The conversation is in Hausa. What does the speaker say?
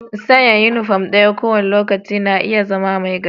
San' uniform ɗaya ko wani lokaci na iya zama mai gajiya.